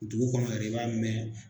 Dugu kɔnɔ yɛrɛ, i b'a mɛn.